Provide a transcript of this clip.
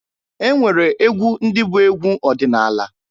E nwere egwu ndị bụ egwu ọdịnaala.